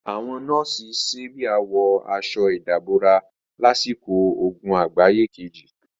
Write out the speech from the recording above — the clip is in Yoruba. Àwọn nọ́ọ̀sì sábíà wọ aṣọ ìdàbora lásìkò ogun àgbáyé kejì.